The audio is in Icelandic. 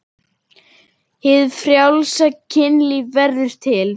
Hið frjálsa kynlíf verður til.